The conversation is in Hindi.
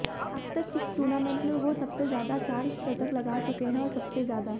अबतक इस टूर्नामेंट में वो सबसे ज्यादा चार शतक लगा चुके हैं और सबसे ज्यादा